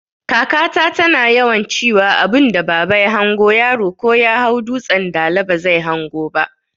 Kaka ta tana yawan ciwa abunda baba ya hango yaro ko Yahau dutsan dala bazai hango ba